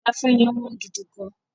Ilé ìgbafẹ́ yẹn wọ́n gidi gán.